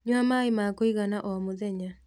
Nyua maĩ ma kũigana o mũthenya